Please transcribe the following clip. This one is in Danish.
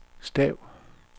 stav